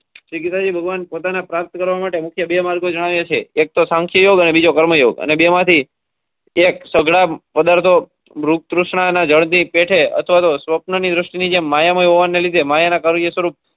શ્રી ગીતાજી ભગવાન પોતાને પ્રાપ્ત કરવા માટે મુખ્ય બે માર્ગો જણાવ્યા છે એક તો યોગ અને બીજો કર્મ યૉગ અને બે માં થી એક સગાળ પદાર્થો કૃષ્ણ અને જળ ની પેટે આથવા તો સ્વપ્ન ની દ્રષ્ટિ ની જેમ માયામય હોવાને લીધે માયા ના કાવ્ય સ્વરુપ.